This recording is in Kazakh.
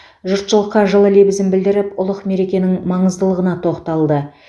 жұртшылыққа жылы лебізін білдіріп ұлық мерекенің маңыздылығына тоқталды